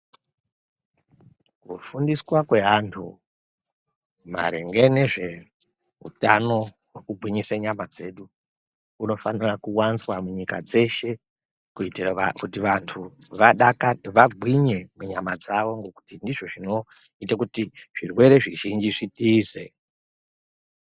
Kufundiswa kwaantu maringe ngezveutano hwekugwinyisa nyama dzedu kunofanire kuwanzwa munyika dzeshe kuitire kuti vantu vagwinye munyama dzavo ngekuti ndizvo zvinoite kuti zvirwere zvizhinji zvitize.